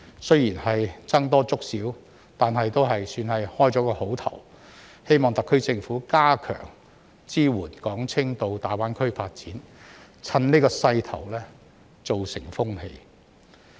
雖然僧多粥少，但也算是好開始，希望特區政府加強支援港青到大灣區發展，趁此勢頭形成風氣。